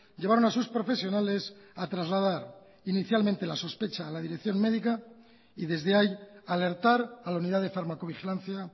llevaron a sus profesionales a trasladar inicialmente la sospecha a la dirección médica y desde ahí alertar a la unidad de farmacovigilancia